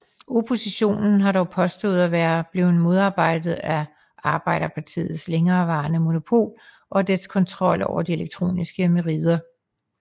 Oppositionen har dog påstået at være blevet modarbejdet af Arbejderpartiets længereværende monopol og dets kontrol over de elektroniske merider